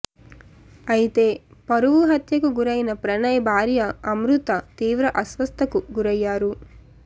అయితే పరువు హత్యకు గురైన ప్రణయ్ భార్య అమృత తీవ్ర అస్వస్థకు గురయ్యారు